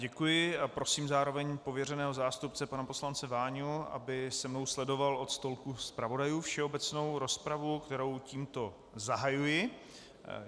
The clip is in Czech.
Děkuji a prosím zároveň pověřeného zástupce pana poslance Váňu, aby se mnou sledoval od stolku zpravodajů všeobecnou rozpravu, kterou tímto zahajuji.